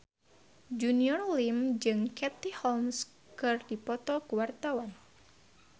Junior Liem jeung Katie Holmes keur dipoto ku wartawan